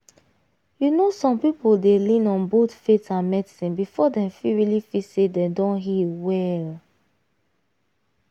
you know some people dey lean on both faith and medicine before dem fit really feel say dem don heal well.